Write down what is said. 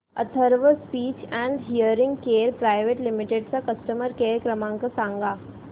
Atharva speech and hearing care private limited चा customer care क्रमांक सांगा